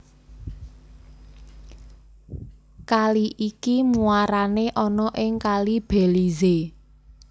Kali iki muarane ana ing Kali Belize